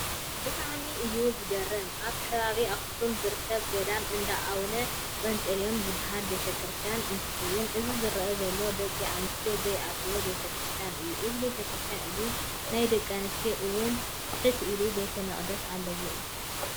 ብጣዕሚ እዩ ዝገርም! ኣብ ከባቢ ኣኽሱም ዝርከብ ገዳም እንዳኣውነ ጰጤልዮን ዝበሃል ቤተ-ከርስትያን እንትከውን እዚ ዝረኣ ዘሎ ደቂ ኣንስትዮ ዘይኣትዎኦ ቤተ-ክርስትያን እዩ። እዚ ቤተ-ክርስትያን እዚ ናይ ደቂ ኣንስትዮ እውን ትሕት ኢሉ ቤተ መቅደስ ኣሎ እዩ።